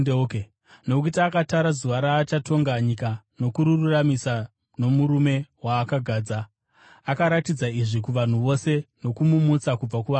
Nokuti akatara zuva raachatonga nyika nokururamisira nomurume waakagadza. Akaratidza izvi kuvanhu vose nokumumutsa kubva kuvakafa.”